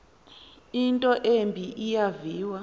into embi eyaviwa